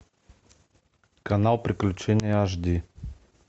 канал приключения аш ди